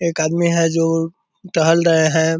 एक आदमी है जो टहल रहे हैं |